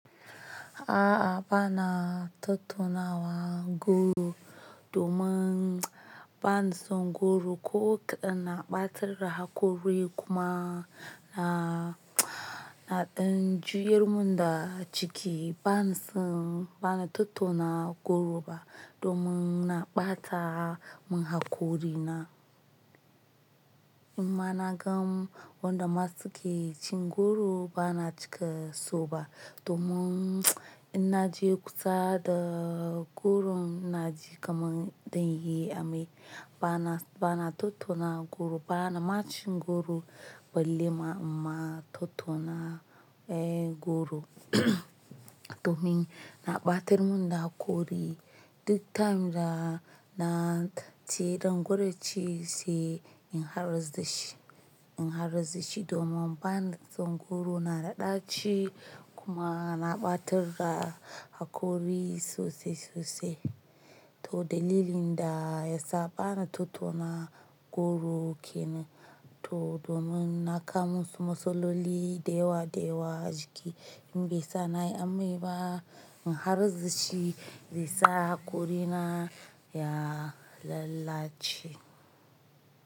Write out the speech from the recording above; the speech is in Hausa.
A'a bana tattunawa goro domin bana son goro ko kaɗan na ɓatar da hakori kuma na, na ɗan juyar mun da ciki bana son, bana tattauna goro ba domin na ɓata mun hakori na. In ma na gan wanda masu ke cin goro bana cika so ba domin in na je kusa da goro na ji kamar zan yi amai. Bana, bana tattuna goro bana ma cin goro balle ma ima tattuna eh goro domin na ɓatar mun da hakori duk time da na tace ɗan goro ci sai in harzu shi, in harzu shi domin bana son goro, na da ɗarchi kuma na ɓatar da hakori sosai sosai. To dalilin da ya sa bana tattuna goro kenan to domin na kama musu masloli da wa da wa jiki in bai sa na yi amai ba in harzu shi zai sa hakori na ya lalace.